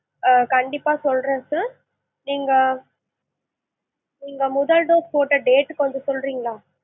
ஆ கண்டிப்பா சொல்றேன் sir நீங்க நீங்க முதல் dose போட்ட date கொஞ்சம் சொல்றிங்களா?